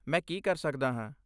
ਮੈਂ ਕੀ ਕਰ ਸਕਦਾ ਹਾਂ?